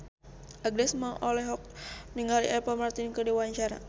Agnes Mo olohok ningali Apple Martin keur diwawancara